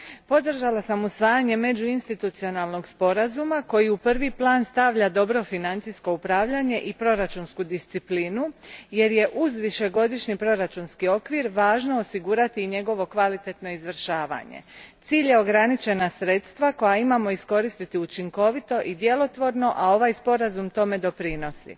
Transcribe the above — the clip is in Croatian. Podržala sam usvajanje Međuinstitucionalnog sporazuma, koji u prvi plan stavlja dobro financijsko upravljanje i proračunsku disciplinu, jer je uz višegodišnji proračunski okvir važno osigurati i njegovo kvalitetno izvršavanje. Cilj je ograničena sredstva koja imamo iskoristiti učinkovito i djelotvorno, a ovaj sporazum tome doprinosi.